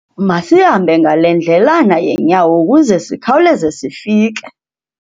Masihambe ngale ndledlana yeenyawo ukuze sikhawuleze sifike.